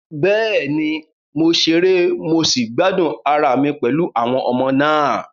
Bẹ́ẹ̀ni, mo ṣeré mo sì gbádùn ara mi pẹ̀lú àwọn ọmọ náà.